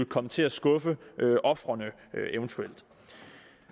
komme til at skuffe ofrene